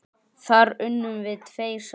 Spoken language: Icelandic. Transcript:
Þar unnum við tveir saman.